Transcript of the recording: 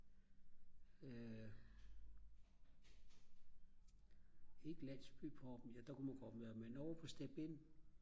landsbypubben ja der kunne man godt være men inde på step-in